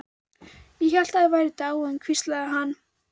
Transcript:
Ég hélt þið væruð dáin, hvíslar hann.